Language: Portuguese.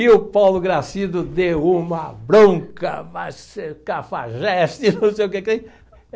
E o Paulo Gracindo deu uma bronca, mas cafajeste, não sei o que que.